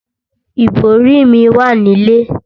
Ìbòrí mi wà nílé.